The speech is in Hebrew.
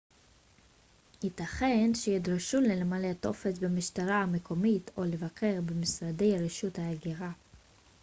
ייתכן שתידרשו למלא טופס במשטרה המקומית או לבקר במשרדי רשות ההגירה